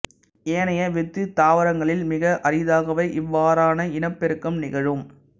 ஏனைய வித்துத் தாவரங்களில் மிக அரிதாகவே இவ்வாறான இனப்பெருக்கம் நிகழும்